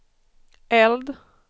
eld